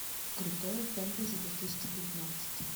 крутое фэнтези две тысячи девятнадцать